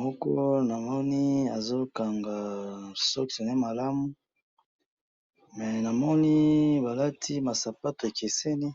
moko na moni azo kanga sokse naye malamu mais na moni ba lati ba sapatu ya keseni